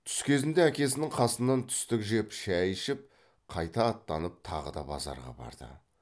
түс кезінде әкесінің қасынан түстік жеп шай ішіп қайта аттанып тағы да базарға барды